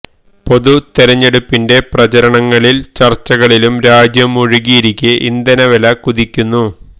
പൊതു തെരഞ്ഞെടുപ്പിന്റെ പ്രചാരണങ്ങളിലും ചര്ച്ചകളിലും രാജ്യം മുഴുകിയിരിക്കെ ഇന്ധന വില കുതിക്കുന്നു